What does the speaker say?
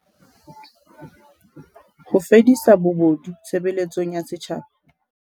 Ho fedisa bobodu tshebeletsong ya setjhaba